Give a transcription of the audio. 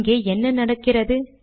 இங்கே என்ன நடக்கிறது